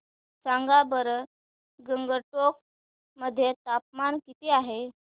सांगा बरं गंगटोक मध्ये तापमान किती आहे